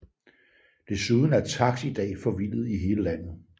Desuden er taks i dag forvildet i hele landet